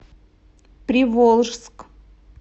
приволжск